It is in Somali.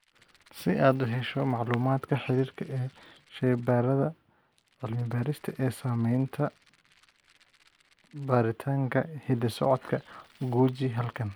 Si aad u hesho macluumaadka xiriirka ee shaybaarrada cilmi-baarista ee samaynaya baaritaanka hidda-socodka, guji halkan.